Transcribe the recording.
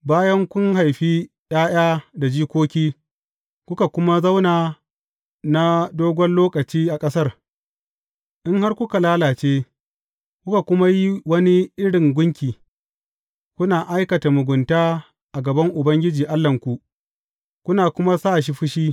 Bayan kun haifi ’ya’ya da jikoki, kuka kuma zauna na dogon lokaci a ƙasar, in har kuka lalace, kuka kuma yi wani irin gunki, kuna aikata mugunta a gaban Ubangiji Allahnku, kuna kuma sa shi fushi.